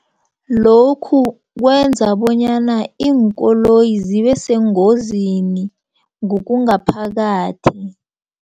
Lokhu kwenza bonyana iinkoloyi zibeseengozini ngokungaphakathi.